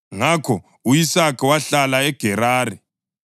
Ngakho u-Isaka wahlala eGerari.